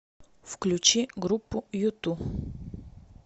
включи группу юту